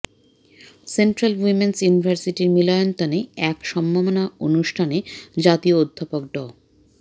central Women's ইউনিভার্সিটির মিলনায়তনে এক সম্মাননা অনুষ্ঠানে জাতীয় অধ্যাপক ড